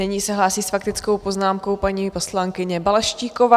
Nyní se hlásí s faktickou poznámkou paní poslankyně Balaštíková.